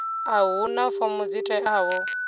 a huna fomo dzi teaho